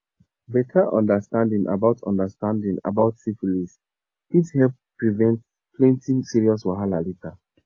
bettert understanding about understanding about syphilis fit help prevent plenty serious wahala later